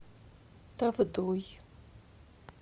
тавдой